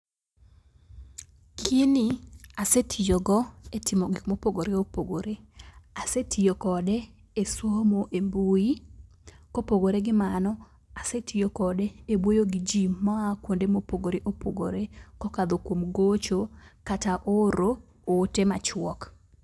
Gini asetiyogo e timo gik mopogpore opogore. Asetiyo kode e somo e mbui . Kopogore gi mano, asetiyo kode e wuoyo gi jii maa kuonde mopogore opogore , kokadho kuom gocho kata oro ote machuok.